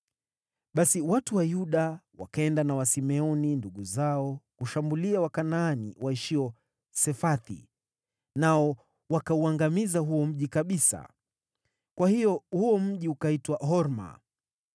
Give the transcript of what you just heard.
Basi watu wa Yuda wakaenda na Wasimeoni ndugu zao kushambulia Wakanaani waishio Sefathi, nao wakauangamiza huo mji kabisa. Kwa hiyo huo mji ukaitwa Horma